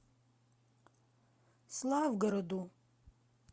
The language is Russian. славгороду